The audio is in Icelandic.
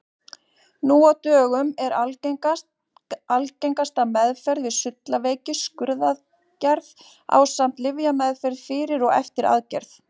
Nú á dögum er algengasta meðferð við sullaveiki skurðaðgerð ásamt lyfjameðferð fyrir og eftir aðgerð.